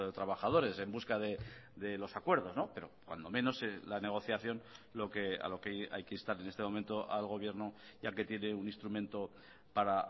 trabajadores en busca de los acuerdos pero cuando menos la negociación a lo que hay que instar en este momento al gobierno ya que tiene un instrumento para